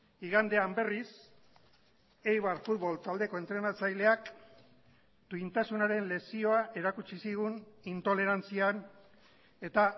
igandean berriz eibar futbol taldeko entrenatzaileak duintasunaren lezioa erakutsi zigun intolerantzian eta